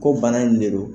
Ko bana in ne don